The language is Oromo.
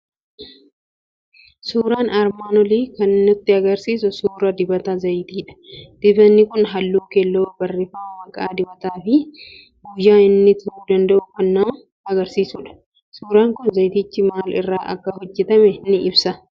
Suuraan armaan olii kan nutti argisiisu suuraa dibata zayitiidha. Dibatni kun halluu keelloo barreeffama maqaa dibataa fi guyyaa inni turuu danda'u kan nama agarsiisudha. Suuraan kun zayitichi maal irraa akka hojjetames ni ibsa.